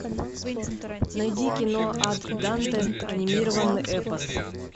найди кино ад данте анимированный эпос